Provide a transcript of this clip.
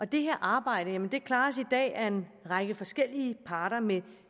det her arbejde klares i dag af en række forskellige parter med